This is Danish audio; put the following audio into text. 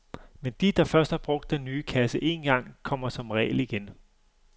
Men de, der først har brugt den nye kasse én gang, kommer som regel igen.